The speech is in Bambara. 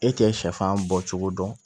E k'e sɛfan bɔcogo dɔn